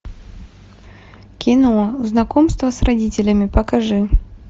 кино знакомство с родителями покажи